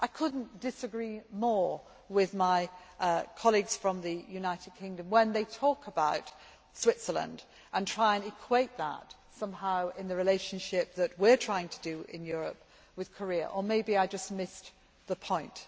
I could not disagree more with my colleagues from the United Kingdom when they talk about Switzerland and try and equate that, somehow, with the relationship that we are trying to form in Europe with Korea or maybe I just missed the point.